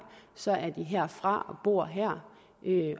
så er de herfra og bor her